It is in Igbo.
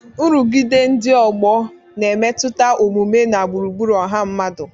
Nrụgide ndị ọgbọ na-emetụta omume na gburugburu ọha mmadụ.